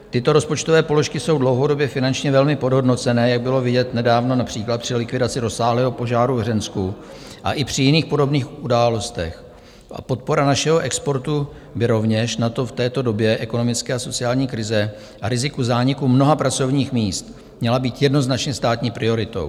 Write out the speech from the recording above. Tyto rozpočtové položky jsou dlouhodobě finančně velmi podhodnocené, jak bylo vidět nedávno například při likvidaci rozsáhlého požáru v Hřensku a i při jiných podobných událostech, a podpora našeho exportu by rovněž, natož v této době ekonomické a sociální krize a riziku zániku mnoha pracovních míst, měla být jednoznačně státní prioritou.